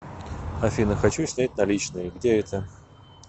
афина хочу снять наличные где это